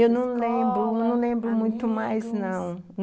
Eu não lembro, escola... amigos...não lembro muito mais não.